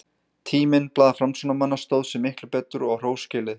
Tíminn, blað framsóknarmanna, stóð sig miklu betur, og á hrós skilið.